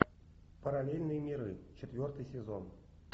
параллельные миры четвертый сезон